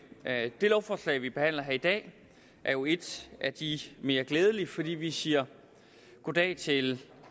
det lovforslag vi behandler her i dag er jo et af de mere glædelige fordi vi siger goddag til